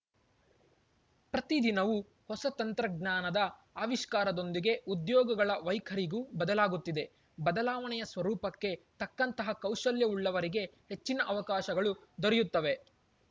ಪ್ರತಿ ದಿನವೂ ಹೊಸ ತಂತ್ರಜ್ಞಾನದ ಆವಿಷ್ಕಾರದೊಂದಿಗೆ ಉದ್ಯೋಗಗಳ ವೈಖರಿಗೂ ಬದಲಾಗುತ್ತಿದೆ ಬದಲಾವಣೆಯ ಸ್ವರೂಪಕ್ಕೆ ತಕ್ಕಂತಹ ಕೌಶಲ್ಯವುಳ್ಳವರಿಗೆ ಹೆಚ್ಚಿನ ಅವಕಾಶಗಳು ದೊರೆಯುತ್ತವೆ